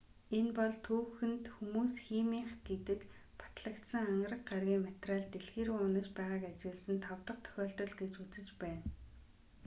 энэ бол түүхэнд хүмүүс химийнх гэдэг нь батлагдсан ангараг гарагийн материал дэлхий рүү унаж байгааг ажигласан тав дахь тохиолдол гэж үзэж байна